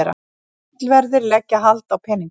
Tollverðir leggja hald á peninga